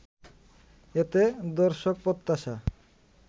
এতে দর্শক প্রত্যাশা